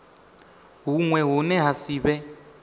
huṅwe hune ha si vhe